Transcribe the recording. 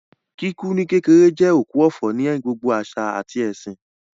Kíkú ní kékeré jẹ́ òkú ọ̀fọ̀ ní gbogbo àṣà àti ẹ̀sìn